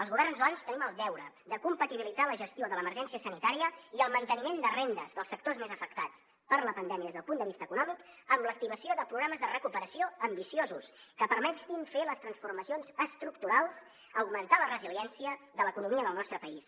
els governs doncs tenim el deure de compatibilitzar la gestió de l’emergència sanitària i el manteniment de rendes dels sectors més afectats per la pandèmia des del punt de vista econòmic amb l’activació de programes de recuperació ambiciosos que permetin fer les transformacions estructurals augmentar la resiliència de l’economia del nostre país